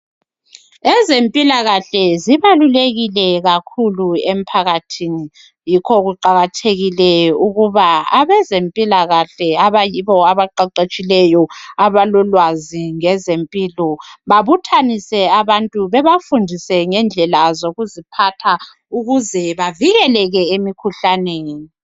Ezempilakahle zibalulekile kakhulu emphakathini yikho kuqakathekile ukuba abezempilakahle abayibo abaqeqetshileyo abalolwazi ngezempilo babuthanise abantu bafundise ngendlela zokuziphatha ukuze bavikeleke emikhuhlaneni.